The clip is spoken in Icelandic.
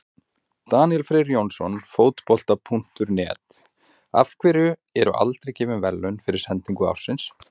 Daníel Freyr Jónsson, Fótbolta.net: Af hverju eru aldrei gefin verðlaun fyrir sendingu ársins?